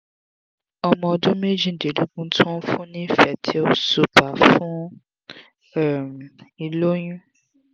ọmọ ọdún méjìdínlógún ti wọn fun ni fertyl super fún um ìloyun